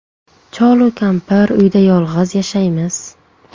Cholu kampir uyda yolg‘iz yashaymiz.